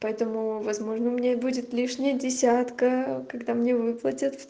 поэтому возможно у меня будет лишней десятка когда мне выплатят